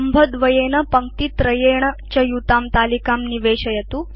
स्तम्भद्वयेन पङ्क्तित्रयेण च युतां तलिकां निवेशयतु